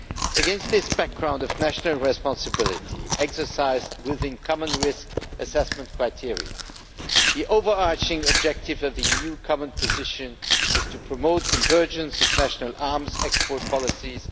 Against this background of national responsibility exercised within common risk-assessment criteria, the overarching objective of the EU common position is to promote convergence of national arms export policies.